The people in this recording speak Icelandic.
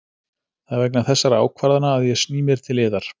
Það er vegna þessara ákvarðana að ég sný mér til yðar.